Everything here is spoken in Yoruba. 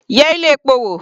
Yẹ ilé epo wò.